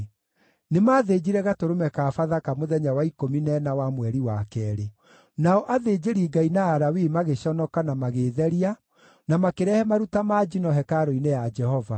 Nĩmathĩnjire gatũrũme ka Bathaka mũthenya wa ikũmi na ĩna wa mweri wa keerĩ. Nao athĩnjĩri-Ngai na Alawii magĩconoka na magĩĩtheria, na makĩrehe maruta ma njino hekarũ-inĩ ya Jehova.